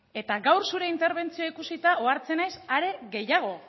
eta gaur zure interbentzioa ikusita ohartzen naiz are gehiago